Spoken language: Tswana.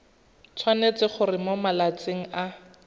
tshwanetse gore mo malatsing a